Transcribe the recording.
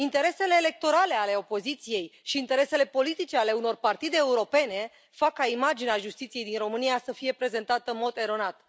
Interesele electorale ale opoziției și interesele politice ale unor partide europene fac ca imaginea justiției din România să fie prezentată în mod eronat.